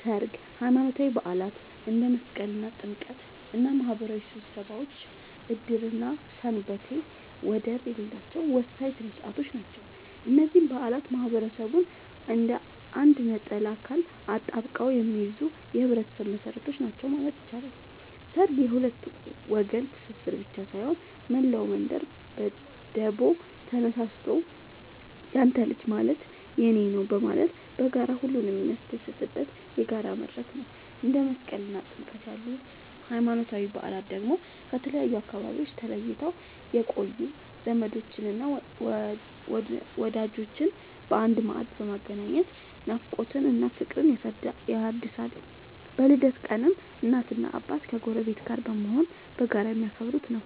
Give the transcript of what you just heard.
ሠርግ፣ ሃይማኖታዊ በዓላት እንደ መስቀልና ጥምቀት እና ማህበራዊ ስብሰባዎች ዕድርና ሰንበቴ ወደር የሌላቸው ወሳኝ ሥነ ሥርዓቶች ናቸው። እነዚህ በዓላት ማህበረሰቡን እንደ አንድ ነጠላ አካል አጣብቀው የሚይዙ የህይወት መሰረቶች ናቸው ማለት ይቻላል። ሠርግ የሁለት ወገን ትስስር ብቻ ሳይሆን፣ መላው መንደር በደቦ ተነሳስቶ ያንተ ልጅ ማለት የኔ ነዉ በማለት በጋራ ሁሉንም የሚያስደስትበት የጋራ መድረክ ነው። እንደ መስቀልና ጥምቀት ያሉ ሃይማኖታዊ በዓላት ደግሞ ከተለያዩ አካባቢዎች ተለይተው የቆዩ ዘመዶችንና ወዳጆችን በአንድ ማዕድ በማገናኘት ናፍቆትን እና ፍቅርን ያድሳሉ። በልደት ቀንም እናትና አባት ከጎረቤት ጋር በመሆን በጋራ የሚያከብሩት ነዉ።